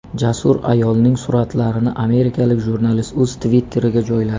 Jasur ayolning suratlarini amerikalik jurnalist o‘z Twitter’iga joyladi.